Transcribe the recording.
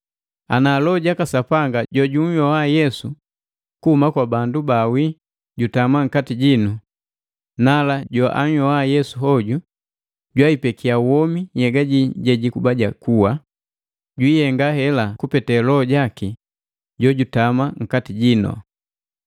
Ana Loho jaka Sapanga jojunhyoa Yesu kuhuma kwa bandu baawi jutama nkati jinu, nala joanhyoa Yesu hoju jwaipekia womi nhyega jii jejikuba ja kuwa, jwiihenga hela kupete Loho jaki jojutama nkati jino.